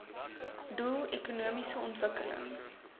doel ekonomiese ontwikkeling